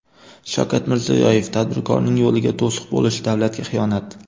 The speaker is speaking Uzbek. Shavkat Mirziyoyev: Tadbirkorning yo‘liga to‘siq bo‘lish davlatga xiyonat!.